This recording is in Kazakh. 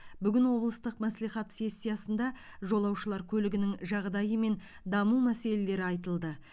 бүгін облыстық мәслихат сессиясында жолаушылар көлігінің жағдайы мен даму мәселелері айтылды